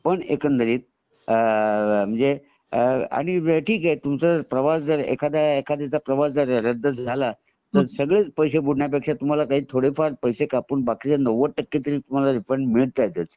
पण एकंदरीत अआ आणि तुमचं प्रवास जर अ ठीक आहे एखाद्याचा प्रवास जर रद्द झाला तर तर सगळेच पैसे बुडण्यापेक्षा थोडेफार पैसे कापून बाकी च नव्वद टक्के तरी रिफंड तुम्हाला मिळतातच